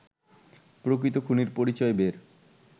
প্রকৃত খুনির পরিচয় বের